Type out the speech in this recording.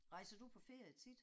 Rejser du på ferie tit?